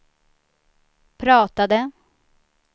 pratade